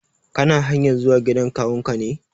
Kana hanyar zuwa gidan kawun ka ne?